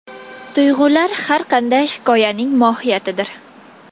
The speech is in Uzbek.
Tuyg‘ular har qanday hikoyaning mohiyatidir”.